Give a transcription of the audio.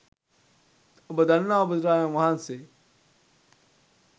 ඔබ දන්නවා බුදුරජාණන් වහන්සේ